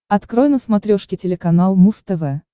открой на смотрешке телеканал муз тв